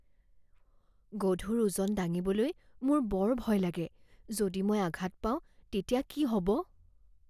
গধুৰ ওজন দাঙিবলৈ মোৰ বৰ ভয় লাগে। যদি মই আঘাত পাওঁ তেতিয়া কি হ'ব?